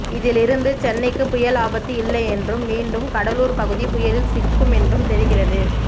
இதில் இருந்து சென்னைக்கு புயல் ஆபத்து இல்லை என்றும் மீண்டும் கடலூர் பகுதி புயலில் சிக்கும் என்றும் தெரிகிறது